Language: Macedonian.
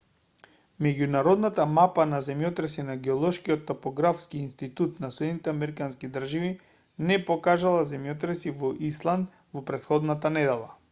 меѓународната мапа на земјотреси на геолошкиот топографски институт на сад не покажала земјотреси во исланд во претходната недела